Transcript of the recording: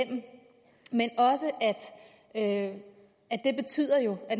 jo at